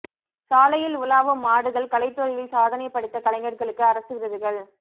சாலையில் உலாவும் மாடுகள் கலைத்துறையில் சாதனை படைத்த கலைஞர்களுக்கு அரசு விருதுகள்